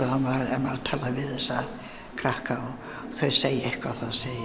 ef maður talar við þessa krakka og þau segja eitthvað þá segi